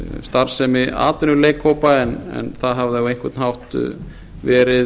starfsemi atvinnuleikhópa en það hafði á einhvern hátt verið